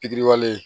Pikiri wale